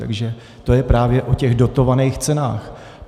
Takže to je právě o těch dotovaných cenách.